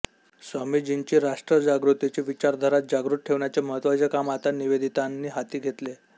स्वामीजींची राष्ट्रजागृतीची विचारधारा जागृत ठेवण्याचे महत्त्वाचे काम आता निवेदितांनी हाती घेतले